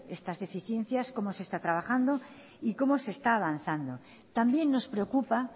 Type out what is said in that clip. esas deficiencias cómo se está trabajando y cómo se está avanzando también nos preocupa